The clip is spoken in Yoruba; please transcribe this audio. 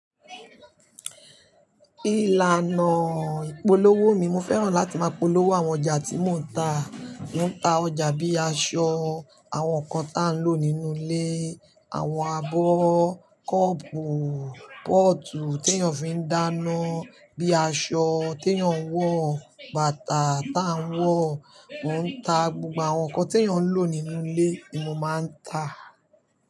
Ìlànà ìpolówó mi, mo fẹ́ràn láti máa polówó àwọn ọjà tí mò ń ta. Mo ń ta ọjà bí aṣọ, àwọn nǹkan tá ń lò nínú ilé, àwọn abọ́, cup, pot tí èèyàn fi ń dáná, bí aṣọ tí èèyàn wọ̀, bàtà tá ń wọ̀. Mo ń ta gbogbo àwọn nǹkan tí èèyàn ń lò nínú ilé ni mo máa ń ta.